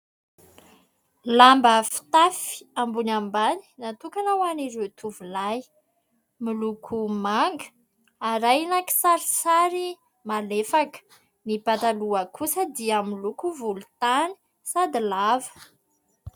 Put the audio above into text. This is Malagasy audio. Lamba fitafy ambony ambany natokana ho an'ireo tovolahy. Miloko manga arahina kisarisary malefaka, ny pataloha kosa dia miloko volontany sady lava.